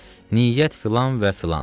Niyyət filan və filan.